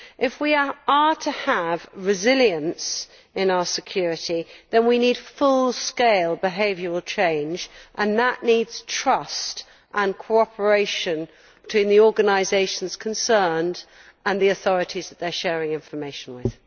If we are to have resilience in our security, we need full scale behavioural change, and that needs trust and cooperation between the organisations concerned and the authorities they are sharing information with.